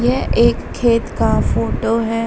यह एक खेत का फोटो है ।